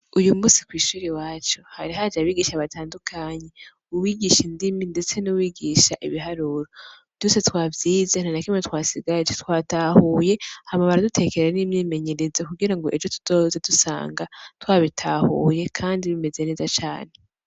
Uyu musi kw'ishuri waco hari haje abigisha batandukanyi uwigisha indimi, ndetse n'uwigisha ibiharuro duse twavyize ntana kimwe twasigaraji twatahuye hamabara dutekerera n'imyimenyerezo kugira ngo ejo tuzoze dusanga twa bitahuye, kandi bimeze neza cane.